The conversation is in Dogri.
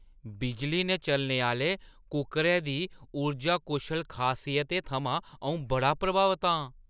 बिजली ने चलने आह्‌ले कुक्करै दी उर्जा कुशल खासियतें थमां अऊं बड़ा प्रभावत आं।